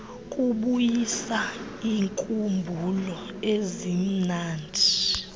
kubuyisa iinkumbulo ezimnandi